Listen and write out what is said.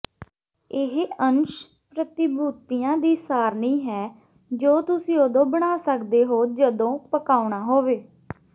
ਇਹ ਅੰਸ਼ ਪ੍ਰਤੀਭੂਤੀਆਂ ਦੀ ਸਾਰਣੀ ਹੈ ਜੋ ਤੁਸੀਂ ਉਦੋਂ ਬਣਾ ਸਕਦੇ ਹੋ ਜਦੋਂ ਪਕਾਉਣਾ ਹੋਵੇ